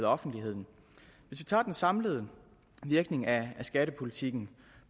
offentligheden hvis vi tager den samlede virkning af skattepolitikken